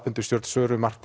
undir stjórn Söru